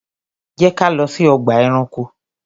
Jẹ́ ká lọ sí ọgbà ẹranko!